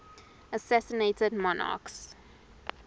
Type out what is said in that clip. assassinated monarchs